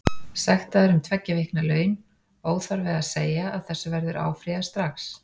Sektaður um tveggja vikna laun, óþarfi að segja að þessu verður áfrýjað strax.